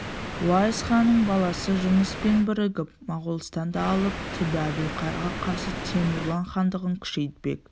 уайс ханның баласы жұныспен бірігіп моғолстанды алып түбі әбілқайырға қарсы темурлан хандығын күшейтпек